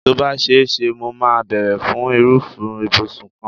Tó bá ṣe é ṣe, mo máa bèrè fún irúfẹ́ ìbùsùn kan.